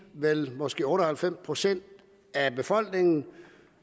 vel måske otte og halvfems procent af befolkningen